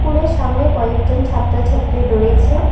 কুলের সামনে কয়েকজন ছাত্রছাত্রী রয়েছে।